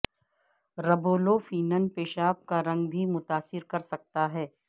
riboflavin پیشاب کا رنگ بھی متاثر کر سکتا ہے